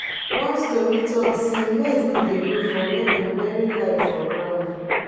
one story talk sey maize no dey grow for where dem bury lie for ground